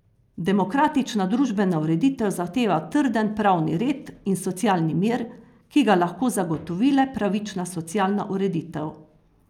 Demokratična družbena ureditev zahteva trden pravni red in socialni mir, ki ga lahko zagotovi le pravična socialna ureditev.